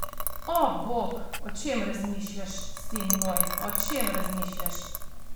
O bog, o čem razmišljaš, sin moj, o čem razmišljaš!